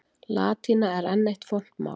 Latína er enn eitt fornt mál.